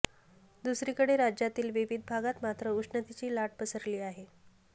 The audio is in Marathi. दुसरीकडे राज्यातील विविध भागात मात्र उष्णतेची लाट पसरली आहे